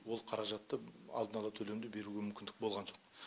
ол қаражатты алдын ала төлемді беруге мүмкіндік болған жоқ